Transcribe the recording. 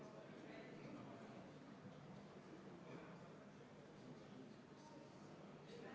Arvestades Eesti väiksust, ei ole mõistlik hilinemise korral ka reisijat majutusasutusse paigutada, sest igast Eesti nurgast on võimalik mõõduka pingutusega sihtkohta jõuda.